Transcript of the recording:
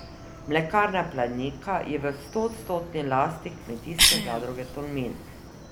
Mlekarna Planika je v stoodstotni lasti Kmetijske zadruge Tolmin.